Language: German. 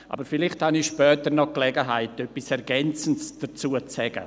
Aber vielleicht habe ich später noch die Gelegenheit, etwas Ergänzendes dazu zu sagen.